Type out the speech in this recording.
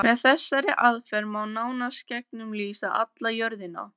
Með þessari aðferð má nánast gegnumlýsa alla jörðina.